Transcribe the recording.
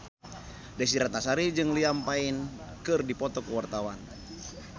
Desy Ratnasari jeung Liam Payne keur dipoto ku wartawan